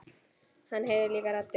Hann heyrir líka raddir.